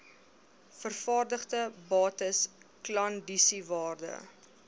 vervaardigde bates klandisiewaarde